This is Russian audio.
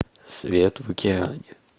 свет в океане